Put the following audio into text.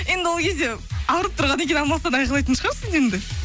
енді ол кезде ауырып тұрғаннан кейін амалсыздан айқалайтын шығарсың енді